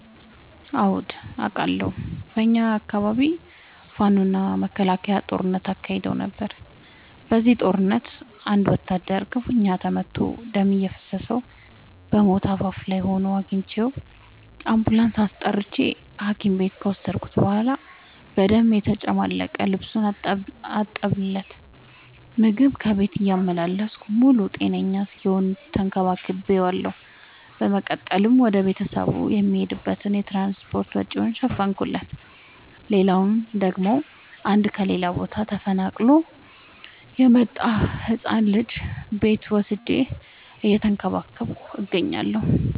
አዎድ አቃለሁ። በኛ አካባቢ ፋኖ እና መከላከያ ጦርነት አካሂደው ነበር። በዚህ ጦርነት አንድ ወታደር ክፋኛ ተመቶ ደም እየፈሰሰው በሞት አፋፍ ላይ ሆኖ አግኝቼው። አንቡላንስ አስጠርቼ ሀኪም ቤት ከወሰድከት በኋላ በደም የተጨማለቀ ልብሱን አጠብለት። ምግብ ከቤት እያመላለስኩ ሙሉ ጤነኛ እስኪሆን ተከባክ ቤዋለሁ። በመቀጠልም ወደ ቤተሰቡ የሚሄድበትን የትራንስፓርት ወጪውን ሸፈንኩለት። ሌላላው ደግሞ አንድ ከሌላ ቦታ ተፈናቅሎ የመጣን ህፃን ልጅ ቤቴ ወስጄ እየተንከባከብኩ እገኛለሁ።